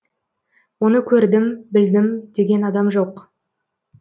оны көрдім білдім деген адам жоқ